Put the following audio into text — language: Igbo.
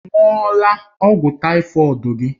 Ị ṅụọla ọgwụ tàífọ̀d gị?